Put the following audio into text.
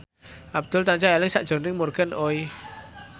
Abdul tansah eling sakjroning Morgan Oey